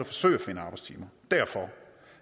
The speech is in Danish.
forsøge at finde arbejdstimer